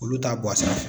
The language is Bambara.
Olu t'a bɔ a la